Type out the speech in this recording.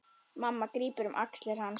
Mamma grípur um axlir hans.